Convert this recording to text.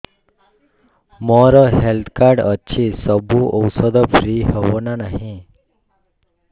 ମୋର health card ଅଛି ସବୁ ଔଷଧ ଫ୍ରି ହବ ନା ନାହିଁ